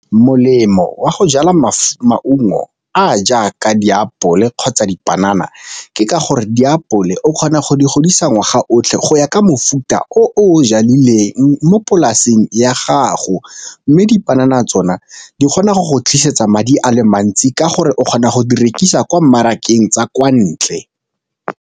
Molemo wa go jala maungo a jaaka diapole kgotsa dipanana ke ka gore diapole o kgona go di godisa ngwaga o otlhe go ya ka mofuta o o jadileng mo polaseng ya gago, mme dipanana tsona di kgona go go tlisetsa madi a le mantsi ka gore o kgona go di rekisa kwa mmarakeng tsa kwa ntle.